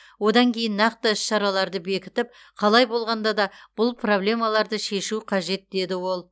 одан кейін нақты іс шараларды бекітіп қалай болғанда да бұл пробламаларды шешу қажет деді ол